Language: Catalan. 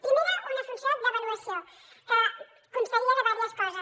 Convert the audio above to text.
primera una funció d’avaluació que constaria de diverses coses